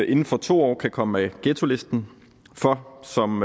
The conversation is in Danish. inden for to år kan komme af ghettolisten for som